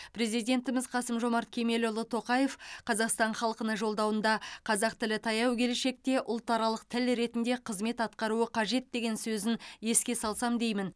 президентіміз қасым жомарт кемелұлы тоқаев қазақстан халқына жолдауында қазақ тілі таяу келешекте ұлтаралық тіл ретінде қызмет атқаруы қажет деген сөзін еске салсам деймін